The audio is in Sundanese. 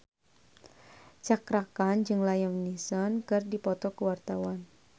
Cakra Khan jeung Liam Neeson keur dipoto ku wartawan